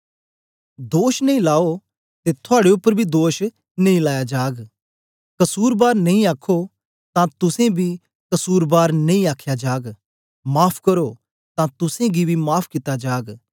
दोष नेई लाओ ते थुआड़े उपर बी दोष नेई लाया जाग कसुरबार नेई आखो तां तुसेंबी कसुरबार नेई आख्या जाग माफ़ करो तां तुसेंगी बी माफ़ कित्ता जाग